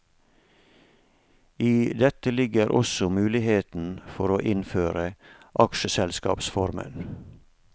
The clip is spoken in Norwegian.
I dette ligger også muligheten for å innføre aksjeselskapsformen.